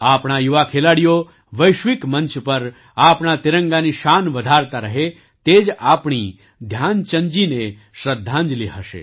આપણા યુવા ખેલાડીઓ વૈશ્વિક મંચ પર આપણા તિરંગાની શાન વધારતા રહે તે જ આપણી ધ્યાનચંદજીને શ્રદ્ધાંજલી હશે